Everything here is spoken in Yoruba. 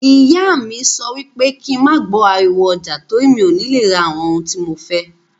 Ìyá mí sọ wípé kín ma gbọ ariwo ọjà, torí mí ọ ni le ra àwọn ohun tí mo fẹ́.